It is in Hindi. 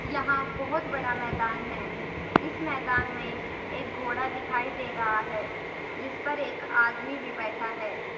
यहां बहुत बड़ा मैदान है इस मैदान में एक घोड़ा दिखाई दे रहा है जिस पर एक आदमी भी बैठा है।